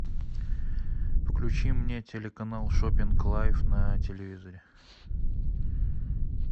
включи мне телеканал шоппинг лайв на телевизоре